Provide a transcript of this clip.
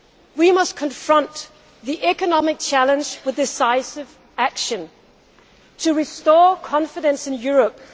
We must confront the economic challenge with decisive action to restore confidence in Europe